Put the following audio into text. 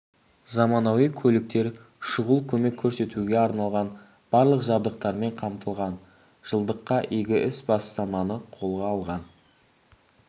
заманауи көліктер шұғыл көмек көрсетуге арналған барлық жабдықтармен қамтылған жылдыққа игі іс осы бастаманы қолға алған